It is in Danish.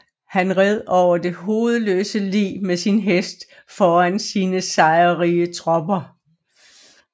Han red over det hovedløse lig med sin hest foran sine sejrrige tropper